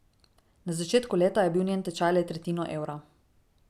Na začetku leta je bil njen tečaj le tretjino evra.